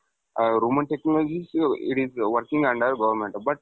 a Roman Technologies and EDP working under government but